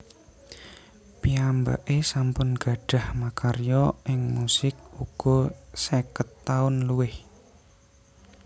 Piyambaké sampun gadhah makarya ing musik uga seket taun luwih